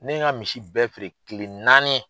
Ne ye n ka misi bɛɛ feere kile naani.